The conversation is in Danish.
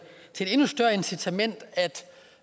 endnu større incitament til